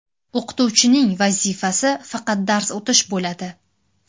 O‘qituvchining vazifasi faqat dars o‘tish bo‘ladi.